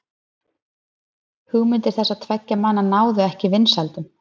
hugmyndir þessara tveggja manna náðu ekki vinsældum